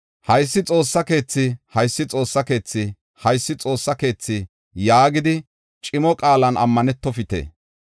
‘Haysi Xoossa keethi! Haysi Xoossa keethi! Haysi Xoossa keethi’ yaagidi cimo qaalan ammanetofite.